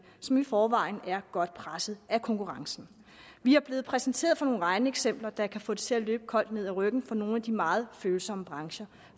som i forvejen er godt presset af konkurrencen vi er blevet præsenteret for nogle regneeksempler der kan få det til at løbe koldt ned ad ryggen på nogle af de meget følsomme brancher